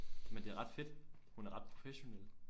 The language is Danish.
Men det er ret fedt hun er ret professionel